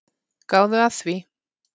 Gáðu að því.